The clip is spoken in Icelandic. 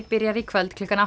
byrjar í kvöld klukkan